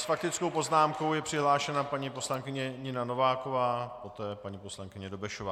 S faktickou poznámkou je přihlášena paní poslankyně Nina Nováková, poté paní poslankyně Dobešová.